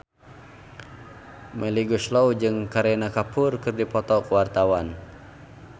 Melly Goeslaw jeung Kareena Kapoor keur dipoto ku wartawan